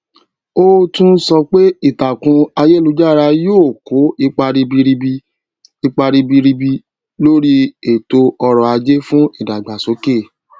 ó tún sọ pé ìtàkùn ayélujára yóò kó ipa ribiribi ipa ribiribi lórí ètò ọtò ajé fún ìdàgbàsókè